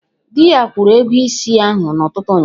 Dị ya kwụrụ ego ịsị ahụ n'ụtụtụ ụnyaahụ